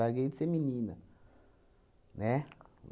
de ser menina, né?